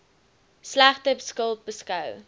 slegte skuld beskou